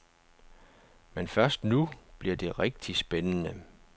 Men først nu bliver det rigtig spændende.